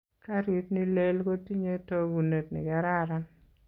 Karit nilel kotinyei tokunet nikararan.